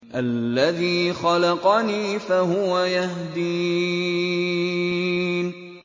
الَّذِي خَلَقَنِي فَهُوَ يَهْدِينِ